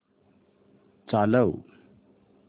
चालव